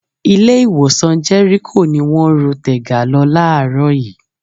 Ilé-ìwòsàn Jẹ́ríkò ni wọ́n ru Tega lọ láàárọ̀ yìí.